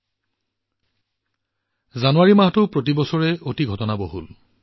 প্ৰতি বছৰৰ দৰে এইবাৰৰ জানুৱাৰী মাহটোও যথেষ্ট ঘটনাবহুল হৈছে